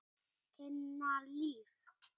Tinna Líf.